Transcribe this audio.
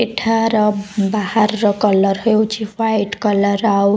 ଏଠାର ବାହାରର କଲର୍ ହେଇଛି ହ୍ୱାଇଟ୍ କଲର୍ ଆଉ--